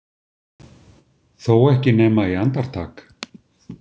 Þó ekki nema í andartak.